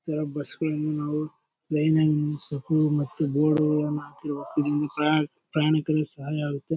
ಈ ತರ ಬಸ್ ಗಳನ್ನ ನಾವು ಲೈನ್ ನಲ್ಲಿ ನಿಲ್ಲಿಸ್ಬಿಟ್ಟು ಮತ್ತೆ ಬೋರ್ಡ್ ಗಳನ್ನ ಹಾಕಿ ಪ್ರಯಾ ಪ್ರಯಾಣಕ್ಕೆ ಸಹಾಯ ಆಗುತ್ತೆ.